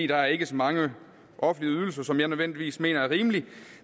der er ikke så mange offentlige ydelser som jeg nødvendigvis mener er rimelige